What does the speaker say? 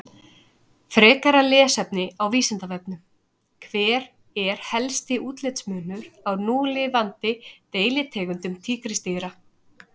Frekara lesefni á Vísindavefnum: Hver er helsti útlitsmunur á núlifandi deilitegundum tígrisdýra?